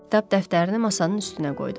Kitab dəftərini masanın üstünə qoydum.